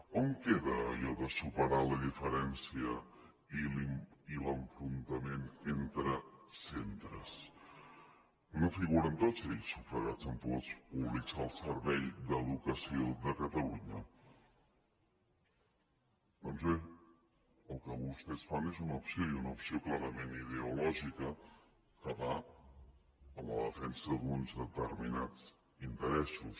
on queda allò de superar la diferència i l’enfrontament entre centres no figuren tots ells sufragats amb fons públics al servei de l’educació de catalunya doncs bé el que vostès fan és una opció i una opció clarament ideològica que va en la defensa d’uns determinats interessos